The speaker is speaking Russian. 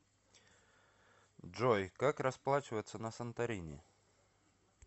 джой как расплачиваться на санторини